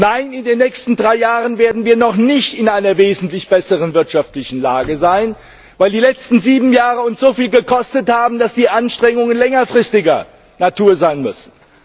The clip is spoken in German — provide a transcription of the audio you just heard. Nein, in den nächsten drei Jahren werden wir noch nicht in einer wesentlich besseren wirtschaftlichen Lage sein, weil die letzten sieben Jahre uns so viel gekostet haben, dass die Anstrengungen längerfristiger Natur sein müssen.